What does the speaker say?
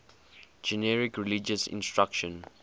generic religious instruction